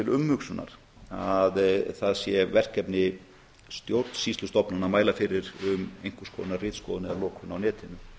umhugsunar að það sé verkefni stjórnsýslustofnana að mæla fyrir um einhvers konar ritskoðun eða lokun á netinu